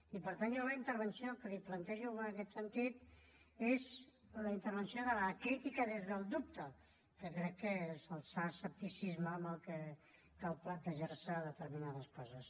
i per tant jo la intervenció que li plantejo en aquest sentit és la intervenció de la crítica des del dubte que crec que és el sa escepticisme amb el que cal plantejar se determinades coses